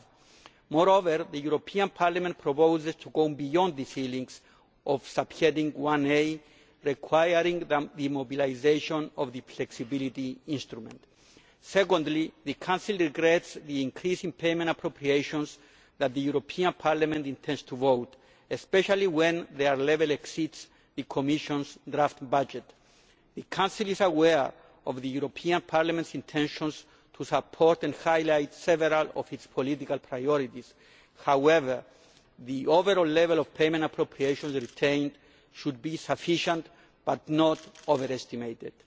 5. Moreover, the European Parliament proposes to go beyond the ceilings of subheading 1a, requiring the mobilisation of the Flexibility Instrument. Secondly, the Council regrets the increasing payment appropriations that the European Parliament intends to vote on, especially when their level exceeds the Commission's draft budget. The Council is aware of the European Parliament's intentions to support and highlight several of its political priorities. However, the overall level of payment appropriations retained should be sufficient but not overestimated.